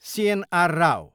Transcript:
CNR. Rao